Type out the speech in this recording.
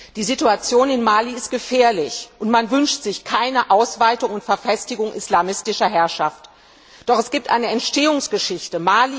Frau Präsidentin! Die Situation in Mali ist gefährlich, und man wünscht sich keine Ausweitung und Verfestigung islamistischer Herrschaft. Doch es gibt eine Entstehungsgeschichte.